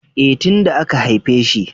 E, tin da aka haifeshi.